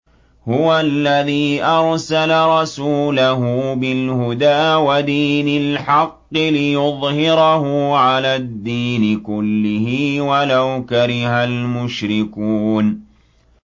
هُوَ الَّذِي أَرْسَلَ رَسُولَهُ بِالْهُدَىٰ وَدِينِ الْحَقِّ لِيُظْهِرَهُ عَلَى الدِّينِ كُلِّهِ وَلَوْ كَرِهَ الْمُشْرِكُونَ